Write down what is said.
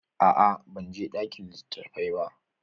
A'a ban je ɗakin litattafai ba.